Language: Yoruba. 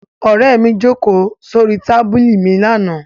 Ọ̀rẹ́ mi jókòó sórí tábìlì mi lánàá.